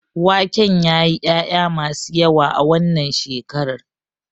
Waken yayi ƴaƴa masu yawa a wannan shekarar.